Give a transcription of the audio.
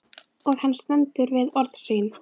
Og hann stendur við orð sín.